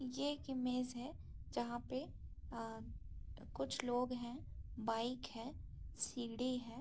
यह एक इमेज है जहाँ पे कुछ लोग हैं बाइक है सीढ़ी है।